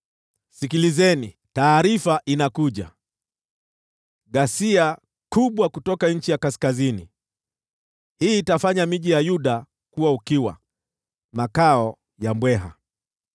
Sikilizeni! Taarifa inakuja: ghasia kubwa kutoka nchi ya kaskazini! Hii itafanya miji ya Yuda ukiwa, makao ya mbweha.